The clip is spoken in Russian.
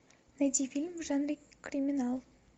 найди фильм в жанре криминал